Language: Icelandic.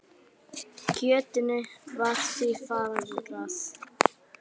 Kjötinu var því fargað.